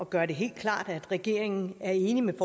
gøre det helt klart at regeringen er enig med